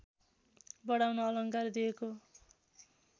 बढाउन अलङ्कार दिएको